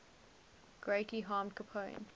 greatly harmed capone